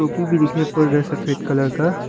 कर रहे हैं सफेद कलर का।